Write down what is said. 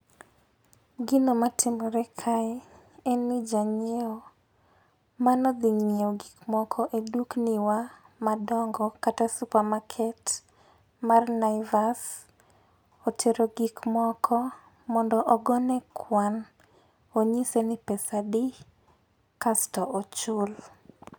gino matimore kae en ni ja ng'iewo mane odhi ng'iewo gik moko e dukni wa dongo kata supermarket mar Niavasa otero gik moko mondo gone kwan onyise ni pesa adi kasto ochul